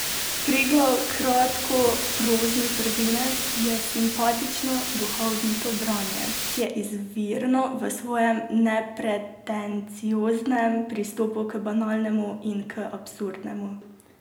Preglov kratkoprozni prvenec je simpatično, duhovito branje, ki je izvirno v svojem nepretencioznem pristopu k banalnemu in k absurdnemu.